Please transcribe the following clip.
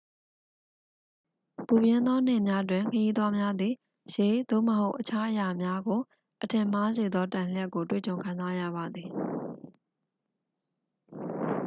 ပူပြင်းသောနေ့တွင် ခရီးသွားများသည် ရေ သို့မဟုတ် အခြားအရာများကို အထင်မှားစေသော တံလျှပ်ကို တွေ့ကြုံခံစားရပါသည်။